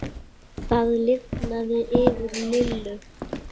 Það lifnaði yfir Lillu.